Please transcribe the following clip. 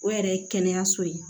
O yɛrɛ ye kɛnɛyaso ye